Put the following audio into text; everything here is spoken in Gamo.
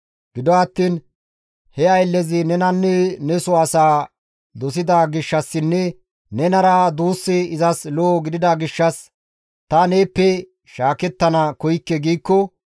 Gido attiin he ayllezi nenanne neso asaa dosida gishshassinne nenara duussi izas lo7o gidida gishshas, «Ta neeppe shaakettana koykke» giikko,